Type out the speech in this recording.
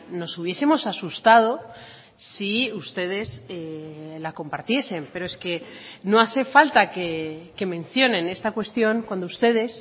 nos hubiesemos asustado si ustedes la compartiesen pero es que no hace falta que mencionen esta cuestión cuando ustedes